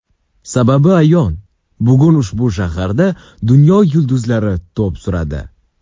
Sababi ayon, bugun ushbu shaharda dunyo yulduzlar to‘p suradi.